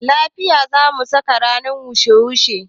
Lafaya zamu saka ranar wushe wushe